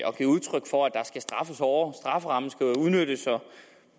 og givet udtryk for at der skal straffes hårdere strafferammen skal udnyttes